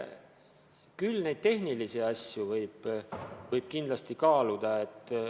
Küll võib kaaluda tehnilisi nüansse.